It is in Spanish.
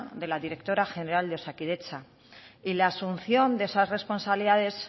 de la directora general de osakidetza y la asunción de esas responsabilidades